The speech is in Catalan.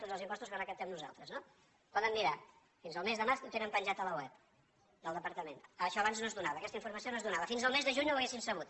tots els impostos que recaptem nosaltres no ho poden mirar fins al mes de març ho tenen penjat a la web del departament això abans no es donava aquesta informació no es donava fins al mes de juny no ho haurien sabut